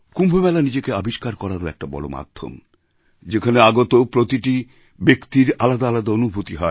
কুম্ভ মেলা নিজেকে আবিষ্কার করারও একটি বড় মাধ্যম যেখানে আগত প্রতিটি ব্যক্তির আলাদা আলাদা অনুভূতি হয়